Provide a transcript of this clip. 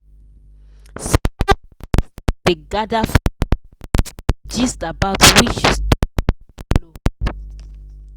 small investors dey gather for online group to gist about which stock go blow.